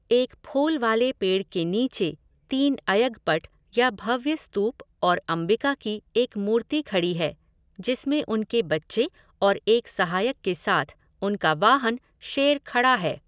एक फूल वाले पेड़ के नीचे तीन अयगपट या भव्य स्तूप और अंबिका की एक मूर्ति खड़ी है जिसमें उनके बच्चे और एक सहायक के साथ उनका वाहन शेर खड़ा है।